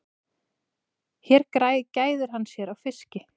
Hér gæðir hann sér á fiski.